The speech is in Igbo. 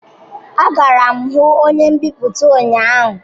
Agara m hu onye mbipụta ụnyahụ